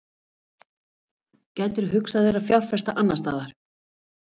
gætirðu hugsað þér að fjárfesta annarstaðar?